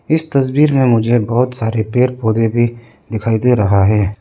इस तस्वीर में मुझे बहोत सारे पेड़ पौधे भी दिखाई दे रहा है।